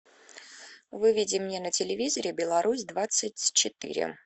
выведи мне на телевизоре белорусь двадцать четыре